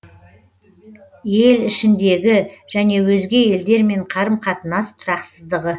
ел ішіндегі және өзге елдермен қарым қатынас тұрақсыздығы